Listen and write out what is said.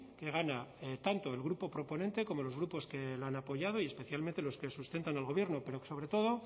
que gana tanto el grupo proponente como los grupos que la han apoyado y especialmente los que sustentan al gobierno pero que sobre todo